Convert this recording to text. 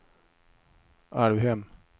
Alvhem